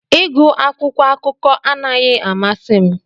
Ịgụ akwụkwọ akụkọ anaghị amasị m